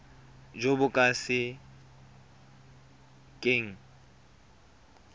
jo bo ka se keng